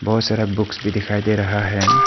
बहुत सारा बुक्स भी दिखाई दे रहा है।